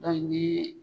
Dɔnki ni